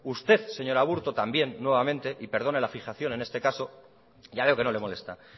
usted señor aburto también nuevamente y perdone la fijación en este caso ya veo que no le molesta